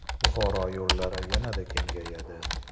Buxoro yo‘llari yanada kengayadi .